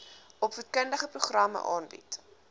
opvoedkundige programme aanbied